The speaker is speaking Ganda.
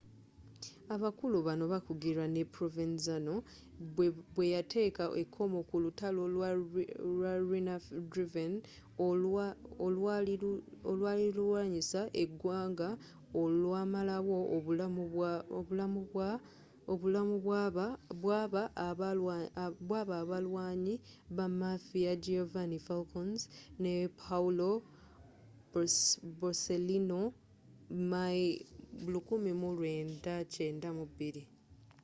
abakulu bano baakugirwa ne provenzano bweyateeka ekomo ku lutalo lwa riina-driven olwali lulwanyisa egwanga olwamalawo obulamu bwaba abalwanyi ba mafia giovanni falcons ne paolo borsellino my 1992